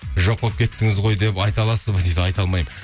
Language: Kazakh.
жоқ болып кеттіңіз ғой деп айта аласыз ба дейді айта алмаймын